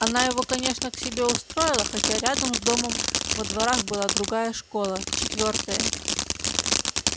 она его конечно к себе устроила хотя рядом с домом во дворах была другая школа четвёртая